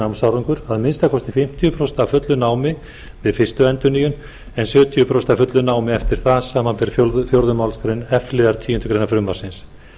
námsárangur að minnsta kosti fimmtíu prósent af fullu námi við fyrstu endurnýjun en sjötíu og fimm prósent af fullu námi eftir það samanber fjórðu málsgrein f liðar tíundu greinar frumvarpsins